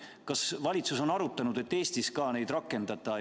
Kas valitsus on arutanud, et Eestiski neid rakendada?